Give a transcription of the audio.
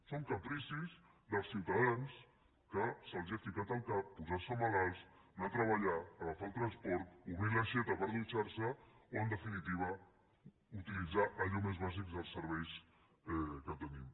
són capricis dels ciutadans que se’ls ha ficat al cap posar se malalts anar a treballar agafar el transport obrir d’aixeta per dutxar se o en definitiva utilitzar allò més bàsic dels serveis que tenim